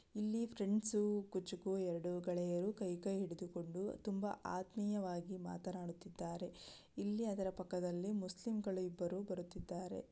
ಇಲ್ಲಿ ಫ್ರೆಂಡ್ಸು ಕುಚುಕು ಎರಡು ಗೆಳೆಯರು ಕೈ ಕೈ ಹಿಡಿದುಕೊಂಡು ತುಂಬಾ ಆತ್ಮೀಯವಾಗಿ ಮಾತನಾಡುತ್ತಿದ್ದಾರೆ ಇಲ್ಲಿ ಅದರ ಪಕ್ಕದಲ್ಲಿ ಮುಸ್ಲಿಂಗಳು ಇಬ್ಬರು ಬರುತ್ತಿದ್ದಾರೆ.